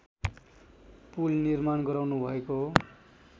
पुल निर्माण गराउनुभएको